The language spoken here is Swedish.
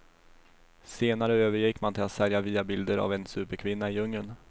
Senare övergick man till att sälja via bilden av en superkvinna i djungeln.